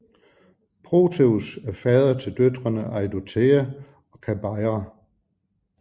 Proteus er fader til døtrene Eidothea og Kabeira